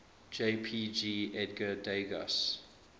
jpg edgar degas